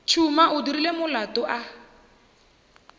tšhuma o dirile molato a